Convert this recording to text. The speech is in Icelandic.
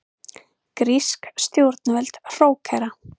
Grísk stjórnvöld hrókera